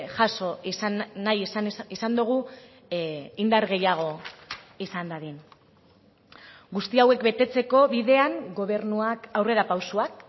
jaso izan nahi izan dugu indar gehiago izan dadin guzti hauek betetzeko bidean gobernuak aurrerapausoak